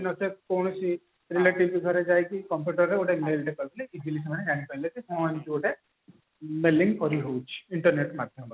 ନଚେତ କୌଣସି relative ଙ୍କ ଘରକୁ ଯାଇକି computer ରେ ଗୋଟେ mail ଟେ କରି ଦେଲେ ହଁ ଏମତି ଗୋଟେ mailing କରିହଉଛି internet ମାଧ୍ୟମରେ